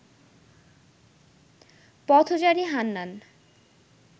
পথচারী হান্নান